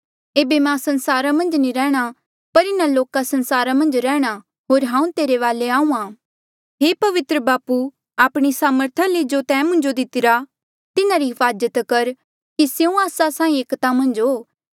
एेबे मां संसारा मन्झ नी रैंह्णां पर इन्हा लोका संसारा मन्झ रैंह्णां होर हांऊँ तेरे वाले आहूँआं हे पवित्र बापू आपणी सामर्था ले जो तैं मुंजो दितिरा तिन्हारी हिफाजत कर कि स्यों आस्सा साहीं एकता मन्झ हो